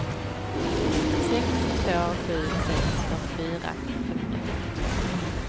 sex två sju sex fyrtiofyra femhundrafemtiotvå